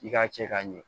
I k'a cɛ ka ɲɛ